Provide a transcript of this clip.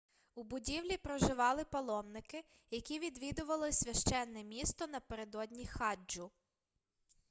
у будівлі проживали паломники які відвідували священне місто напередодні хаджу